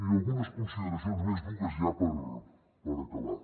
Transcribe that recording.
i algunes consideracions només dues ja per acabar